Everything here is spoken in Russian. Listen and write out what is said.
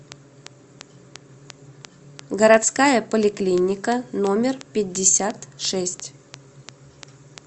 городская поликлиника номер пятьдесят шесть